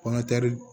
Kɔnɔgɛri